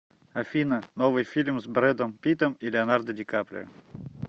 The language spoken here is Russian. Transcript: афина новый фильм с бредом питтом и леонардо ди каприо